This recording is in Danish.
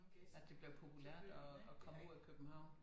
At det bliver populært at at komme ud af København